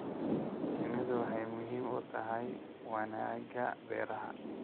Shinnidu waxay muhiim u tahay wanaagga beeraha.